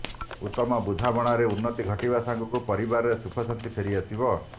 ଉତମ ବୁଝାମଣାରେ ଉନ୍ନତି ଘଟିବା ସଙ୍ଗକୁ ପରିବାରରେ ସୁଖ ଶାନ୍ତି ଫେରି ଆସିବ